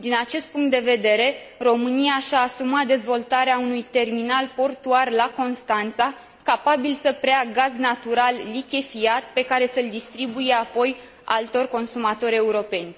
Din acest punct de vedere, România și a asumat dezvoltarea unui terminal portuar la Constanța, capabil să preia gaz natural lichefiat, pe care să l distribuie apoi altor consumatori europeni.